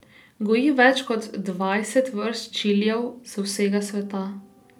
Goji več kot dvajset vrst čilijev z vsega sveta.